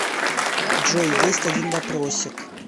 джой есть один вопросик